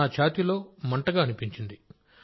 ఛాతీలో మంటగా అనిపించింది సార్